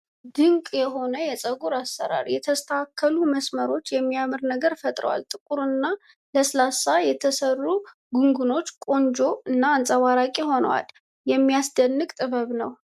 ድንቅ የሆነ የፀጉር አሰራር! የተስተካከሉ መስመሮች የሚያምር ነገር ፈጥረዋል። ጥቁር እና ለስላሳ የተሰሩት ጉንጉኖች ቆንጆ እና አንፀባራቂ ሆነዏል። የሚያስደንቅ ጥበብ ነው!